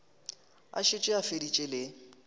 a šetše a feditše le